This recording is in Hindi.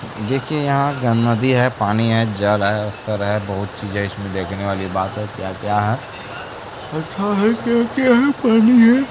देखिये यहां गं नदी है पानी है जल है अस्तर है बहोत चीजे इसमें देखने वाली बात है क्या- क्या है पता है क्या- क्या है पानी है।